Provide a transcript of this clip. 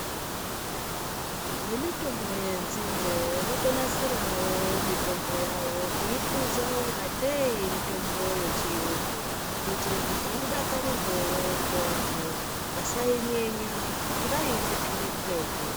Vemitombo yenzinde votonasirawo mitombo yavo kuihluza ungatei mitombo yechiyungu kuitire kuti idakarirweo ngevanthu vasainyenya ngekuti vaiitetera kuretu.